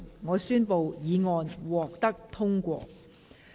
我宣布議案獲得通過。